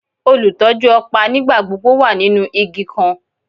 Olutọju ọpa nigbagbogbo wa ninu igi kan